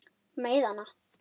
Meiða hana.